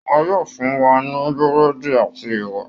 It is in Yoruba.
Wọ́n yóò fún wa ní Búrẹ́dì àti ẹwà